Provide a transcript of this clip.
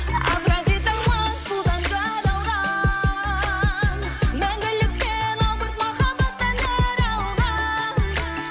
авротидамын судан жаралған мәңгілікте албырт махаббаттан нәр алған